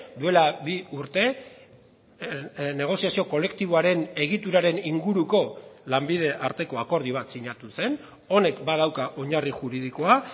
duela bi urte negoziazio kolektiboaren egituraren inguruko lanbide arteko akordio bat sinatu zen honek badauka oinarri juridikoa